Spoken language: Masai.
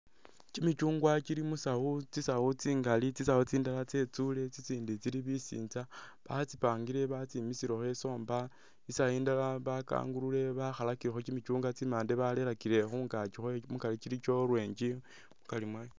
Kimichungwa kili musawu tsisawu tsingaali tsisawu tsindala tsetsule tsitsindi tsili bisintsa batsipangile batsimisilekho e somba isawu indala bakagulule bakhalakilekho kimichungwa tsimande balerakile khungaki khwayo mukari kili kya orange mukari mwa..